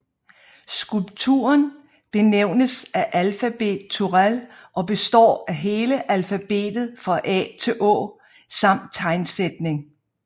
Skulpturen benævnes Alfabet Turèll og består af hele alfabetet fra A til Å samt tegnsætning